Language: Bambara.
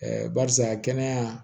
barisa kɛnɛya